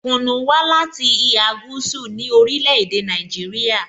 Kunu wa lati iha gúúsù ni orile-ede Naijiria.